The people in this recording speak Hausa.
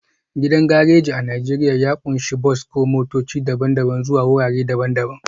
Gidan gareji a Najeriya ya ƙunshi bas ko motoci daban-daban zuwa wurare daban-daban